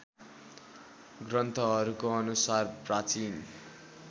ग्रन्थहरूको अनुसार प्राचीन